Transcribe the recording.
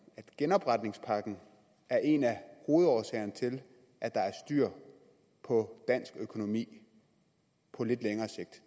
at genopretningspakken er en af hovedårsagerne til at der er styr på dansk økonomi på lidt længere sigt